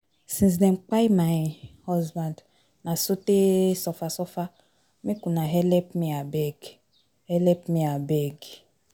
Since dem kpai my husband na sote suffer suffer, make una helep me abeg. helep me abeg.